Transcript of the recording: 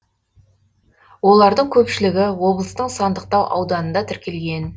олардың көпшілігі облыстың сандықтау ауданында тіркелген